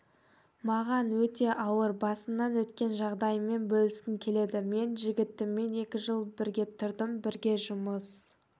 маған өте ауыр басымнан өткен жағдаймен бөліскім келеді мен жігітіммен екі жыл бірге тұрдым бірге жұмыс